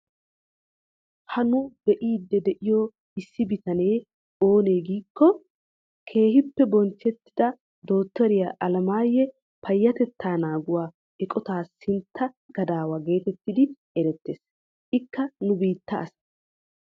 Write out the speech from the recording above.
Ha nu be'iidi de'iyoo issi bitanee oonee giikko! keehippe bonchchettida dottoriyaa Alamiyaa payatettaa nanguwaa eqotaa sintta gadawaa getettidi erettees. Ikka nu bittaa asa.